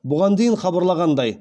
бұған дейін хабарлағандай